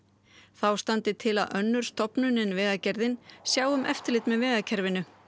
þá standi til að önnur stofnun en Vegagerðin sjái um eftirlit með vegakerfinu